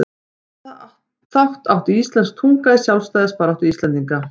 Hvaða þátt átti íslensk tunga í sjálfstæðisbaráttu Íslendinga?